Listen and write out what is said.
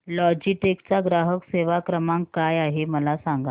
Logitech चा ग्राहक सेवा क्रमांक काय आहे मला सांगा